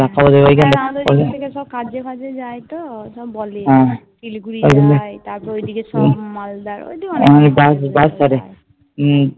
হ্যা আমাদের ওদিক থেকে সব কাজে ফাজে যাই তো সব বলে শিলিগুড়ি যাই তারপর ওদিকে সব মালদার ওই দিকে